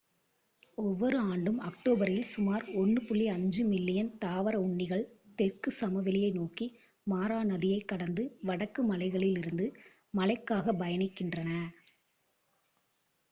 ஒவ்வொரு ஆண்டும் அக்டோபரில் சுமார் 1.5 மில்லியன் தாவர உண்ணிகள் தெற்கு சமவெளியை நோக்கி மாரா நதியைக் கடந்து வடக்கு மலைகளிலிருந்து மழைக்காகப் பயணிக்கின்றன